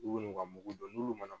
U n'u ka mugu dɔn n'ulu mana